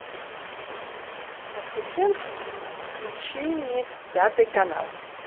ассистент включи мне пятый канал